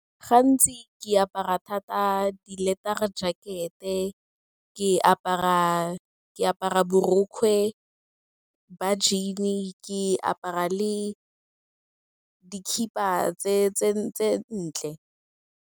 Gantsi ke apara thata di-leather-ra jacket-e, ke apara borokgwe ba jean-e, ke apara le dikhiba tse ntle.